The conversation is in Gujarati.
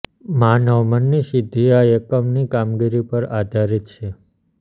માનવ મનની સીધી આ એકમ ની કામગીરી પર આધારિત છે